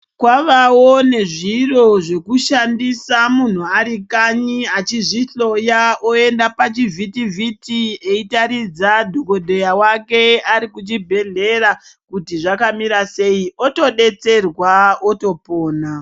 Kwavawo nezviro zvekushandisa muntu arikanyi achizvihloya oenda pachivhiti vhiti eiratidza dhokodheya wake arikuchibhedhleya kuti zvakamira sei otobatsirwa otopona.